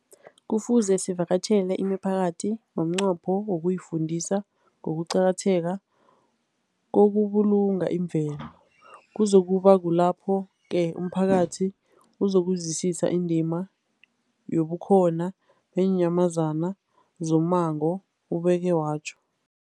Kufuze sivakatjhele imiphakathi ngomnqopho wokuyifundisa ngokuqakatheka kokubulunga imvelo. Kuzoku ba kulapho-ke umphakathi uzokuzwisisa indima yobukhona beenyamazana zommango, ubeke watjho.